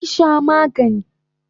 Zo ki sha magani!